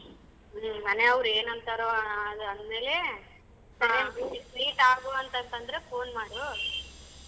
ಹ್ಮ್ ಮನೆಯವರ್ ಏನ್ ಅಂತಾರೋ ಅದ್ ಅಂದ್ಮೇಲೆ meet ಆಗುವಂತಂದ್ರೆ phone ಮಾಡು.